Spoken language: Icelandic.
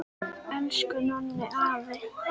Elsku Nonni afi!